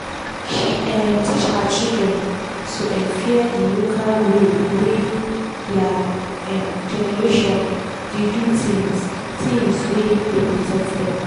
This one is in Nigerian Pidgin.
she um teach her children to um fear the local way way their um generation dey do things things wey dey protect them